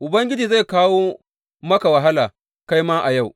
Ubangiji zai kawo maka wahala kai ma a yau.